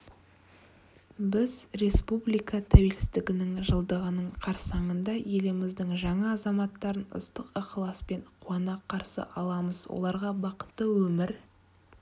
біз республика тәуелсіздігінің жылдығының қарсаңында еліміздің жаңа азаматтарын ыстық ықыласпен қуана қарсы аламыз оларға бақытты өмір